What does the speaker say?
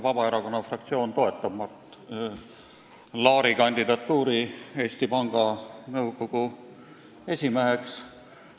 Vabaerakonna fraktsioon toetab Mart Laari kandidatuuri Eesti Panga Nõukogu esimehe kohale.